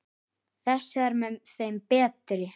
Þessi er með þeim betri.